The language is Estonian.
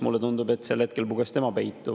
Mulle tundub, et sel hetkel puges tema peitu.